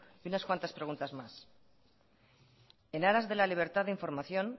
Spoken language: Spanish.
y unas cuantas preguntas más en aras de la libertad de información